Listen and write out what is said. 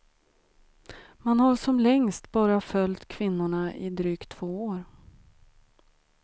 Man har som längst bara följt kvinnorna i drygt två år.